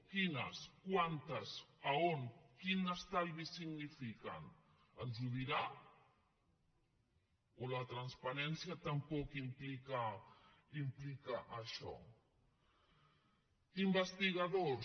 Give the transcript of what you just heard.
quines quantes on quin estalvi significa ens ho dirà o la transparència tampoc implica això investigadors